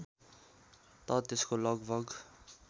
त त्यसको लगभग